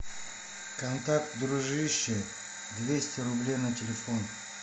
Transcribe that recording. контакт дружище двести рублей на телефон